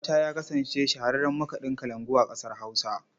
Shata ya kasance shahararren makaɗin kalangu a ƙasar Hausa.